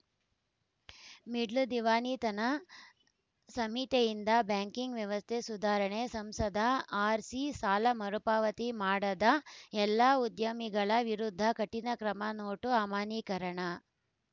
middle ದಿವಾಳಿತನ ಸಂಹಿತೆಯಿಂದ banking ವ್ಯವಸ್ಥೆ ಸುಧಾರಣೆ ಸಂಸದ ಆರ್‌ಸಿ ಸಾಲ ಮರುಪಾವತಿ ಮಾಡದ ಎಲ್ಲ ಉದ್ಯಮಿಗಳ ವಿರುದ್ಧ ಕಠಿಣ ಕ್ರಮ ನೋಟು ಅಮಾನ್ಯೀಕರಣ